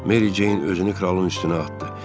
Meri Ceyn özünü kralın üstünə atdı.